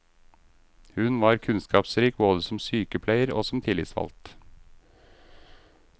Hun var kunnskapsrik både som sykepleier og som tillitsvalgt.